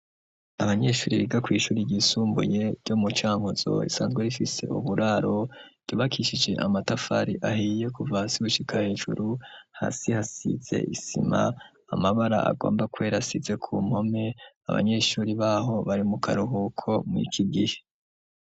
Abanyeshuri biga kw'ishuri ryisumbuye ryo mu Cankuzo risanzwe rifise uburaro, ryubakishije amatafari ahiye kuva hasi gushika hejuru, hasi hasize isima, amabara agomba kwera asize ku mpome, abanyeshuri baho bari mu karuhuko mw'iki gihe.